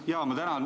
Ma tänan!